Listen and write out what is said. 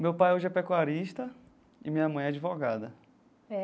Meu pai hoje é pecuarista e minha mãe é advogada.